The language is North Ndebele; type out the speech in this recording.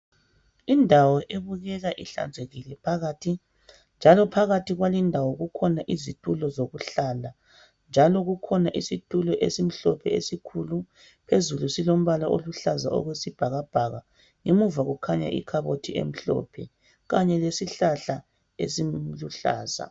Indawo ebukeka ihlanzekile phakathi. Njalo phakathi kwalindawo kukhona izitulo zokuhlala njalo kukhona isitulo esimhlophe esikhulu phezulu silombala oluhlaza okwesibhakabhaka ngemuva kukhanya ikhabothi emhlophe lesihlahla esiluhlaza